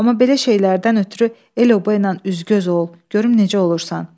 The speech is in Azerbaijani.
Amma belə şeylərdən ötrü el oboyla üz-göz ol, görüm necə olursan.